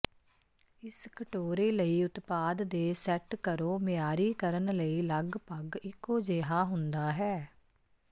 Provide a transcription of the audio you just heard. ਇਸ ਕਟੋਰੇ ਲਈ ਉਤਪਾਦ ਦੇ ਸੈਟ ਕਰੋ ਮਿਆਰੀ ਕਰਨ ਲਈ ਲਗਭਗ ਇੱਕੋ ਜਿਹਾ ਹੁੰਦਾ ਹੈ